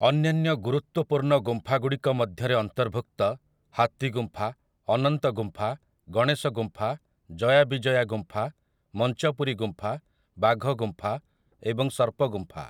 ଅନ୍ୟାନ୍ୟ ଗୁରୁତ୍ୱପୂର୍ଣ୍ଣ ଗୁମ୍ଫା ଗୁଡ଼ିକ ମଧ୍ୟରେ ଅନ୍ତର୍ଭୁକ୍ତ ହାତୀ ଗୁମ୍ଫା, ଅନନ୍ତ ଗୁମ୍ଫା, ଗଣେଶ ଗୁମ୍ଫା, ଜୟା ବିଜୟା ଗୁମ୍ଫା, ମଞ୍ଚପୁରୀ ଗୁମ୍ଫା, ବାଘ ଗୁମ୍ଫା ଏବଂ ସର୍ପ ଗୁମ୍ଫା ।